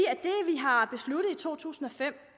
to tusind og fem